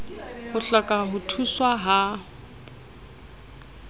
o hloka ho thuswa ha